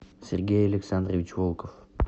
сергей александрович волков